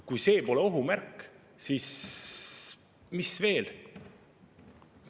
Kui see pole ohu märk, siis mis veel?